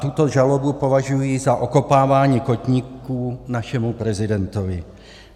Tuto žalobu považuji za okopávání kotníků našemu prezidentovi.